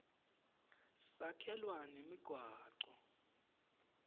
sakhelwa nemigwaco